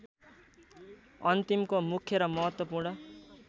अन्तिमको मुख्य र महत्त्वपूर्ण